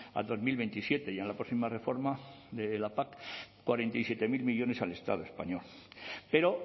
al dos mil veintisiete y en la próxima reforma de la pac cuarenta y siete mil millónes al estado español pero